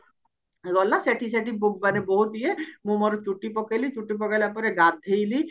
ଗଲା ସେଠି ସେଠି ମାନେ ବହୁତ ଇଏ ମୁଁ ମୋର ଚୁଟି ପକେଇଲି ଚୁଟି ପକେଇଲା ପରେ ଗାଧେଇଲି